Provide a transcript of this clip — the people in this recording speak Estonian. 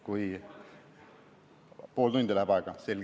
Kas pool tundi läheb aega?